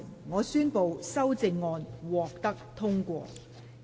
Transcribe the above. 我宣布修正案獲得通過。